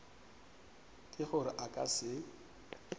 ke gore a ka se